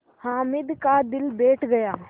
हामिद का दिल बैठ गया